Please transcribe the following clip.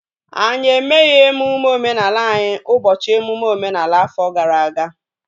Anyị emeghị emume omenala anyị ụbọchị emume omenala afọ gara aga